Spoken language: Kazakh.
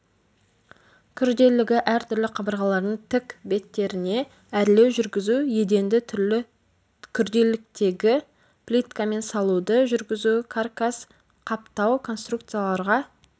күрделілігі әр түрлі қабырғалардың тік беттеріне әрлеу жүргізу еденді түрлі күрделіліктегі плиткадан салуды жүргізу каркас-қаптау конструкцияларға